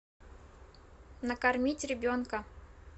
накормить ребенка